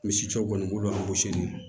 Misi cɛw kɔni an gosi